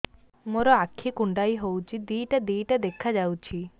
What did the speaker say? ମୋର ଆଖି କୁଣ୍ଡାଇ ହଉଛି ଦିଇଟା ଦିଇଟା ଦେଖା ଯାଉଛି